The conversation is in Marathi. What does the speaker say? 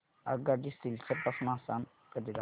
आगगाडी सिलचर पासून आसाम करीता